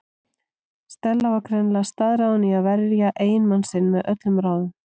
Stella var greinilega staðráðin í að verja eiginmann sinn með öllum ráðum.